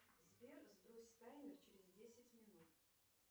сбер сбрось таймер через десять минут